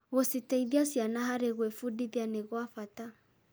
Gũciteithia ciana harĩ gwĩbundithia nĩ gwa bata.